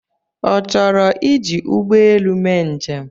Ọ chọrọ iji ụgbọelu mee njem?